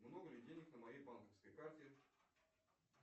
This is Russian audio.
много ли денег на моей банковской карте